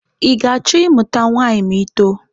Ị ga-achọ ịmụta nwaanyị ma ị too?